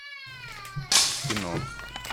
кино